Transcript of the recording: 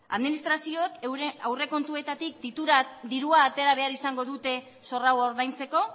administrazioek euren aurrekontuetatik dirua atera behar izango dute zor hau ordaintzeko